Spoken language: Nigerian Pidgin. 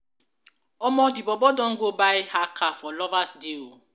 omo di bobo don go buy her car for lovers day o.